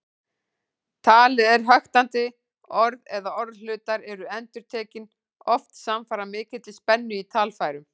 Talið er höktandi, orð eða orðhlutar eru endurtekin, oft samfara mikilli spennu í talfærum.